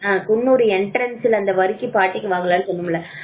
Coonoor Entrance ல அந்த வருக்கி பாட்டிக்கு வாங்கலாம்னு சொன்னோம்ல